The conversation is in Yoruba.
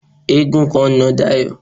Eégún kan na Dayọ̀.